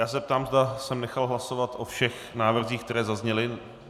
Ptám se, zda jsem nechal hlasovat o všech návrzích, které zazněly.